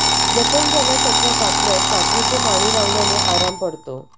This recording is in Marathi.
जखम झाल्यास अथवा कापल्यास कापूरचे पाणी लावल्याने आराम पडतो